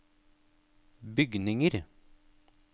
bygninger